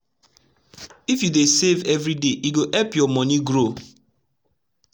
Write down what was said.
if u dey save every day e go epp ur moni grow